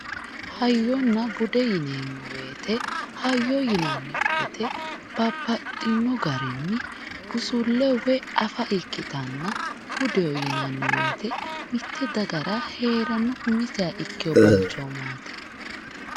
Hayyonna bude yineemmo woyiite hayyo yinanni woyiite baxxinno garinni busulle afa ikkitanna budeho yinanni woyiite mitte dagara heeranno umiseha ikkino balchoomaati.